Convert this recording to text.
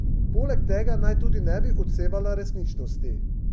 Poleg tega naj tudi ne bi odsevala resničnosti.